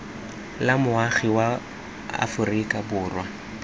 la moagi wa aforika borwa